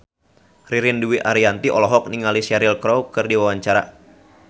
Ririn Dwi Ariyanti olohok ningali Cheryl Crow keur diwawancara